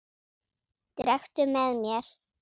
Drekktu með mér!